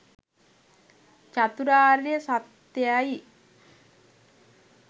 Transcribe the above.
චතුරාර්ය සත්‍යයයි.